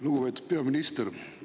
Lugupeetud peaminister!